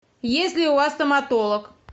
есть ли у вас стоматолог